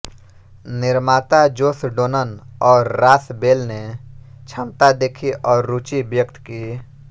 निर्माता Josh Donnan और Ross Bell ने क्षमता देखी और रुचि व्यक्त की